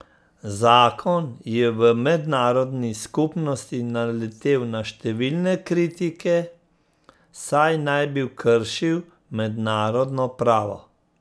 Zakon je v mednarodni skupnosti naletel na številne kritike, saj naj bi kršil mednarodno pravo.